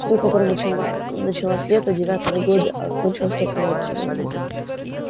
с той которая началась летом девятого года а кончилась только вот сегодня